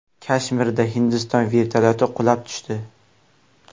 Kashmirda Hindiston vertolyoti qulab tushdi.